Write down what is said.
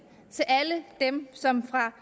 alle dem som fra